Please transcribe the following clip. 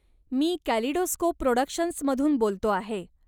मी kaleidoscope प्रॉडक्शन्समधून बोलतो आहे.